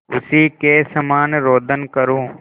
उसी के समान रोदन करूँ